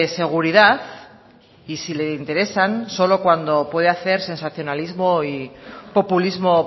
seguridad y sí le interesan solo cuando puede hacer sensacionalismo y populismo